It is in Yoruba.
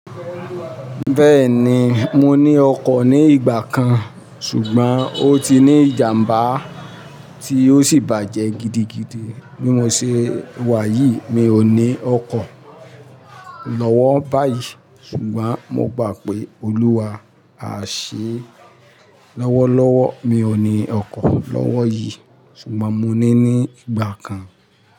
Bẹ́ẹ̀ni, mo ní ọkọ̀ ní ìgbà kan ṣùgbọ́n ó ti ní ìjàmbá tí ó sì bàjẹ́ gidigidi. Bí mo ṣe wà yìí mi ò ní ọkọ̀ lọ́wọ́ báyìí ṣùgbọ́n mo gbà pé Olúwa á ṣe é lọ́wọ́lọ́wọ́. Mi ò ní ọkọ̀ lọ́wọ́ yìí ṣùgbọ́n mo ní ní ìgbà kan.